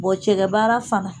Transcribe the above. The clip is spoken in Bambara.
cɛkɛ baara fana.